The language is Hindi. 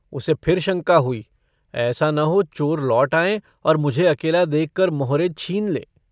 उसे फिर शंका हुई - ऐसा न हो चोर लौट आएँ और मुझे अकेला देखकर मोहरे छीन लें।